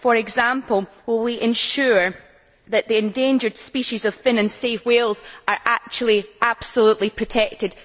For example, will we ensure that the endangered species of Fin and Sei whales are actually absolutely protected?